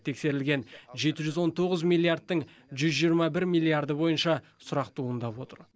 тексерілген жеті жүз он тоғыз миллиардтың жүз жиырма бір миллиарды бойынша сұрақ туындап отыр